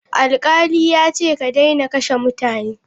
Alkali yace ka daina kashe mutane.